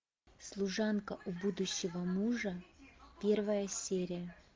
служанка у будущего мужа первая серия